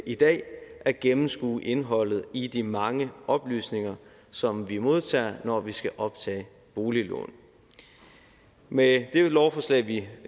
i dag at gennemskue indholdet i de mange oplysninger som vi modtager når vi skal optage boliglån med dette lovforslag vi